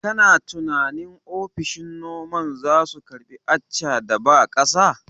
Kana tunanin ofishin noman zasu karbi Accha da ba ƙasa?